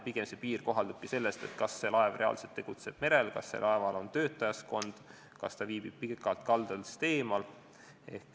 Pigem sõltub see sellest, kas laev reaalselt tegutseb merel, kas laeval on töötajaskond ja kas ta viibib pikalt kaldast eemal.